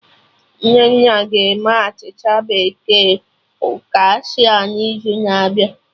Nnenna ga-eme achịcha bekee focaccia n'izu na-abịa